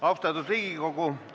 Austatud Riigikogu!